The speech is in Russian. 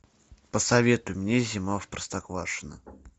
посоветуй мне зима в простоквашино